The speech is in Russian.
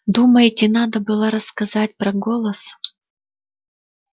думаете надо было рассказать про голос